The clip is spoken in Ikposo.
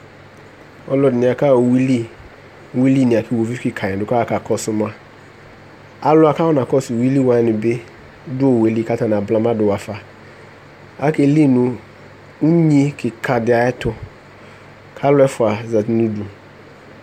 Ɔlɔdɩnɩ akaɣa uyui li Uyui li nɩ la kʋ iɣoviu kɩkanɩ dʋ kʋ aɣa kakɔsʋ ma Alʋ wanɩ kʋ akɔnakɔsʋ uyui li wanɩ bɩ dʋ owu yɛ li kʋ atanɩ abla ma dʋ ɣafa Akeli nʋ unyi kɩka dɩ ayɛtʋ kʋ alʋ ɛfʋa zati nʋ udu